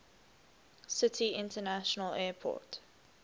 city international airport